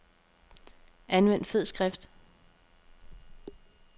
Anvend fed skrift.